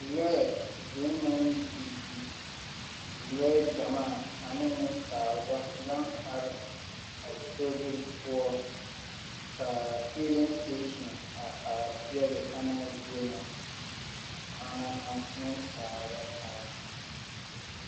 Lɔɛ vũũ naŋ didi, lɔɛ gyamaa ane nensaalba, baŋ are a sobiri poɔ ka feeleŋ seteesini a are peɛle ana zie na. Ana na nensaalba kaara.